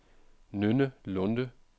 Nynne Lunde